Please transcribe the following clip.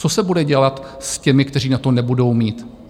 Co se bude dělat s těmi, kteří na to nebudou mít?